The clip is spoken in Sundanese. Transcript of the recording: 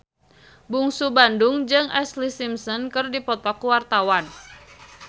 Bungsu Bandung jeung Ashlee Simpson keur dipoto ku wartawan